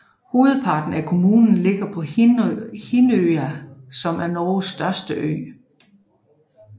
Hovedparten af kommunen ligger på Hinnøya som er Norges største ø